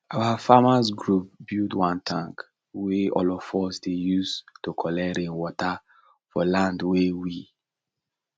our farmers group build one tank wey all of us dey use to collect rain water for land wey we